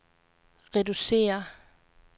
reducere